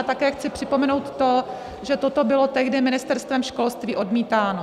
A také chci připomenout to, že toto bylo tehdy Ministerstvem školství odmítáno.